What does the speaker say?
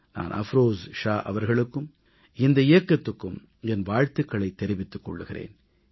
நான் அஃப்ரோஸ் ஷா அவர்களுக்கும் இந்த இயக்கத்துக்கும் என் வாழ்த்துகளைத் தெரிவித்துக் கொள்கிறேன்